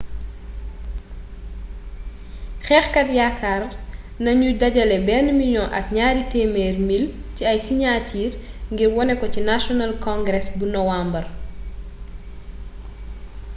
xeexkat yakaar nagnu dajalé ben million ak niari temer mil ci ay siniatir ngir woné ko ci national congress bu nowembar